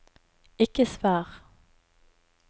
ikke svar